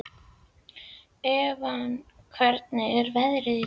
Evan, hvernig er veðrið í dag?